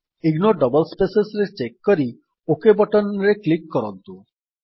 ignore double space ରେ check କରି okay button ରେ କ୍ଲିକ୍ କରନ୍ତୁ